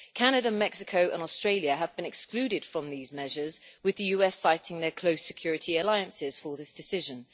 Firstly, Canada, Mexico and Australia have been excluded from these measures, with the US citing their close security alliances for this decision.